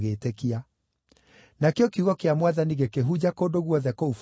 Nakĩo kiugo kĩa Mwathani gĩkĩhunja kũndũ guothe kũu bũrũri-inĩ.